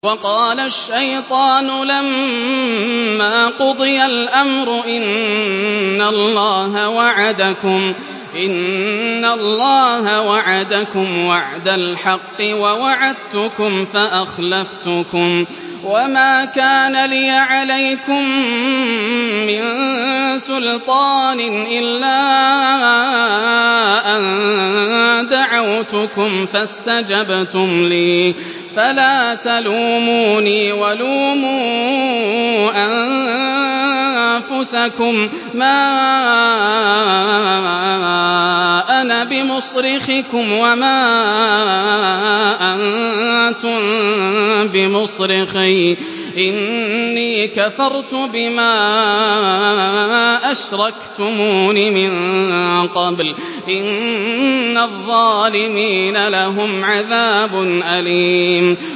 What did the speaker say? وَقَالَ الشَّيْطَانُ لَمَّا قُضِيَ الْأَمْرُ إِنَّ اللَّهَ وَعَدَكُمْ وَعْدَ الْحَقِّ وَوَعَدتُّكُمْ فَأَخْلَفْتُكُمْ ۖ وَمَا كَانَ لِيَ عَلَيْكُم مِّن سُلْطَانٍ إِلَّا أَن دَعَوْتُكُمْ فَاسْتَجَبْتُمْ لِي ۖ فَلَا تَلُومُونِي وَلُومُوا أَنفُسَكُم ۖ مَّا أَنَا بِمُصْرِخِكُمْ وَمَا أَنتُم بِمُصْرِخِيَّ ۖ إِنِّي كَفَرْتُ بِمَا أَشْرَكْتُمُونِ مِن قَبْلُ ۗ إِنَّ الظَّالِمِينَ لَهُمْ عَذَابٌ أَلِيمٌ